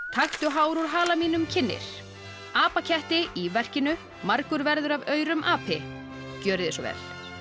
taktu hár úr hala mínum kynnir apaketti í verkinu margur verður af aurum api gjörið þið svo vel